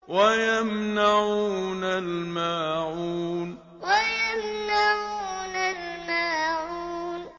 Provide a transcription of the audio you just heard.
وَيَمْنَعُونَ الْمَاعُونَ وَيَمْنَعُونَ الْمَاعُونَ